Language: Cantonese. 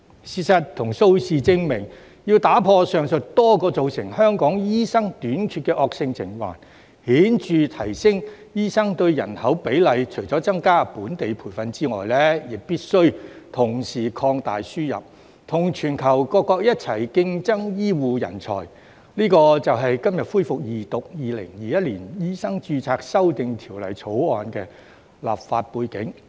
事實與數字證明，要打破上述多個造成香港醫生短缺的惡性循環，顯著提升醫生對人口比例，除了增加本地培訓之外，必須同時擴大輸入，與全球各國一起競爭醫護人才，這就是今日恢復二讀《2021年醫生註冊條例草案》的立法背景。